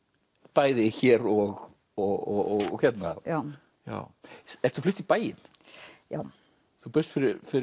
bæði hér og og hérna já ertu flutt í bæinn já þú bjóst